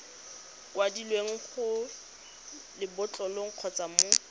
kwadilweng mo lebotlolong kgotsa mo